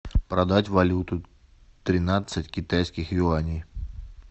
продать валюту тринадцать китайских юаней